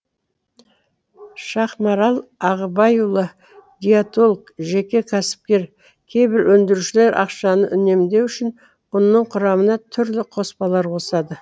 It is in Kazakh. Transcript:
шахмарал ағыбайұлы диетолог жеке кәсіпкер кейбір өндірушілер ақшаны үнемдеу үшін ұнның құрамына түрлі қоспалар қосады